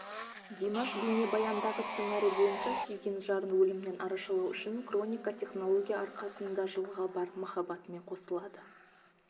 димаш бейнебаяндағы сценарий бойынша сүйген жарын өлімнен арашалау үшін крионика технология арқасында жылға барып махаббатымен қосылады